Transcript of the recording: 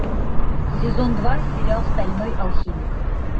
сезон два сериал стальной алхимик